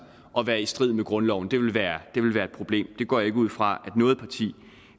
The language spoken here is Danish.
at være i strid med grundloven det ville være et problem det går jeg ikke ud fra noget parti